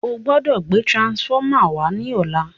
o gbódò gbé transformer wá ní ọlá!